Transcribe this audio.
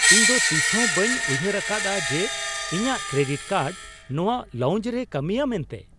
ᱤᱧ ᱫᱚᱛᱤᱥ ᱦᱚᱸ ᱵᱟᱹᱧ ᱩᱭᱦᱟᱹᱨ ᱟᱠᱟᱫᱼᱟ ᱡᱮ ᱤᱧᱟᱹᱜ ᱠᱨᱮᱰᱤᱴ ᱠᱟᱨᱰ ᱱᱚᱶᱟ ᱞᱟᱣᱩᱱᱡ ᱨᱮᱭ ᱠᱟᱹᱢᱤᱭᱟ ᱢᱮᱱᱛᱮ !